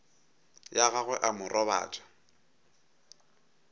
ya gagwe a mo robatša